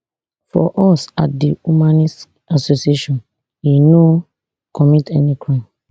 for us at di humanist association e no commit any crime